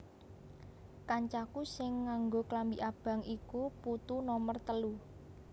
Kancaku sing nganggo klambi abang iku putu nomer telu